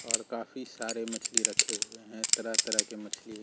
और काफी सारे मछली रखे हुए हैं तरह-तरह के मछली --